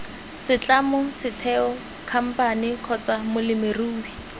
setlamo setheo khamphane kgotsa molemirui